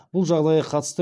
бұл жағдайға қатысты